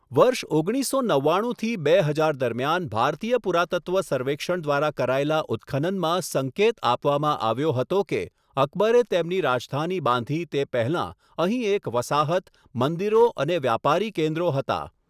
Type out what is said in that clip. વર્ષ ઓગણીસસો નવ્વાણુંથી થી બે હજાર દરમિયાન ભારતીય પુરાતત્વ સર્વેક્ષણ દ્વારા કરાયેલા ઉત્ખનનમાં સંકેત આપવામાં આવ્યો હતો કે, અકબરે તેમની રાજધાની બાંધી તે પહેલાં અહીં એક વસાહત, મંદિરો અને વ્યાપારી કેન્દ્રો હતા.